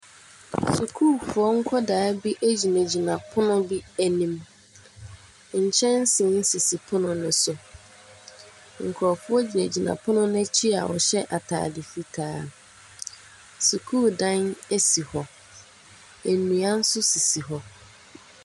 Sukuufoɔ nkwadaa bi egyina gyina pono bi anim. Nkyɛnsee sisi pono ne so, nkorɔfoɔ gyina gyina pono n'akyi a ɔhyɛ ataade fitaa. Sukuu dan esi hɔ, ennua so sisi hɔ.